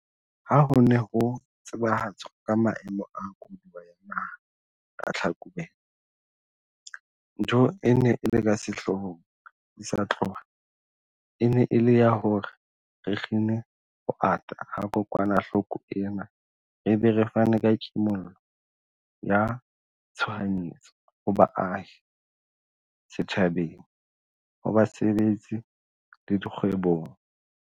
Ha ho ne ho tsebahatswa ka Maemo a Koduwa ya Naha ka Tlhakubele, ntho e neng e le ka sehloohong di sa tloha e ne e le ya hore re kgine ho ata ha kokwanahloko ena re be re fane ka kimollo ya tshoha nyetso ho baahi, setjhabeng, ho basebetsi le dikgwebong.